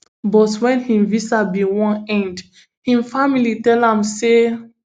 but wen im visa bin wan end im family tell am say